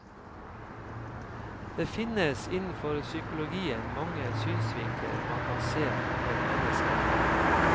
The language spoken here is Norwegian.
Det finnes innenfor psykologien mange synsvinkler man kan se på et menneske fra.